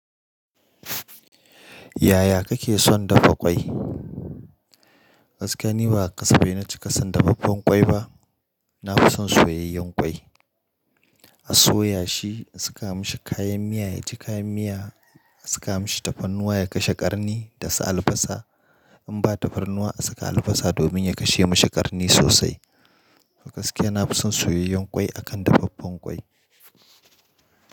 Yaya kake son dafa ƙwai? Gaskiya ni ba ƙasa bai na ci ƙasan dafaffen ƙwai ba. Na fi son soyayyen ƙwai. A soya shi, a saka mashi kayan miya, ya ji kayan miya, a saka mashi tafarnuwa ya kashe ƙarni da su albasa. In ba tafarnuwa a saka albasa domin ya kashe mashi ƙarni sosai. Fa gaskiya na fi son soyayyen ƙwai akan dafaffen ƙwai.